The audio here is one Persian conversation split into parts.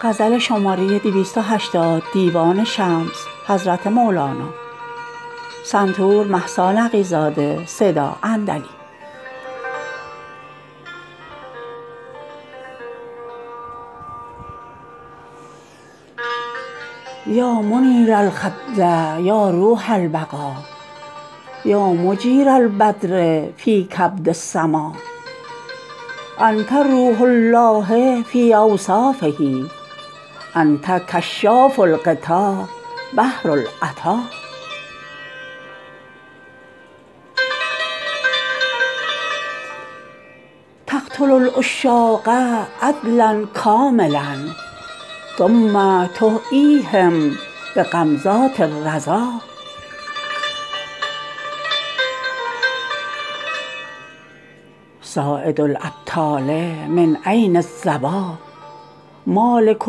یا منیر الخد یا روح البقا یا مجیر البدر فی کبد السما انت روح الله فی اوصافه انت کشاف الغطا بحر العطا تقتل العشاق عدلا کاملا ثم تحییهم بغمزات الرضا صاید الابطال من عین الظبا مالک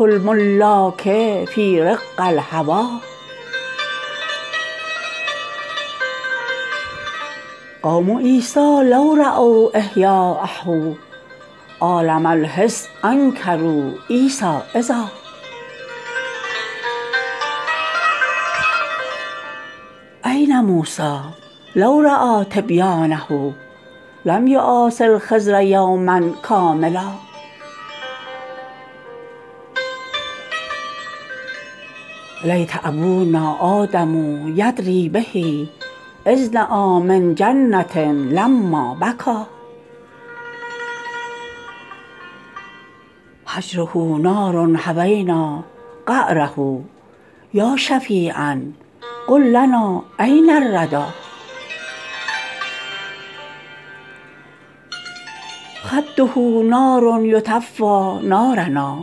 الملاک فی رق الهوی قوم عیسی لو راو احیایه عالم الحس انکروا عیسی اذا این موسی لو رای تبیانه لم یواس الخضر یوما کاملا لیت ابونا آدم یدری به اذنای من جنه لما بکا هجره نار هوینا قعره یا شفیعا قل لنا این الردا خده نار یطفی نارنا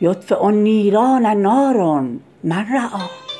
یطفی النیران نار من رآی